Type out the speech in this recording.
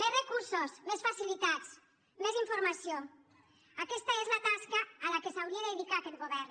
més recursos més facilitats mes informació aquesta és la tasca a què s’hauria de dedicar aquest govern